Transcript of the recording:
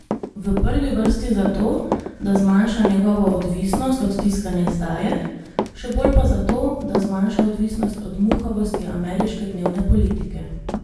V prvi vrsti zato, da zmanjša njegovo odvisnost od tiskane izdaje, še bolj pa zato, da zmanjša odvisnost od muhavosti ameriške dnevne politike.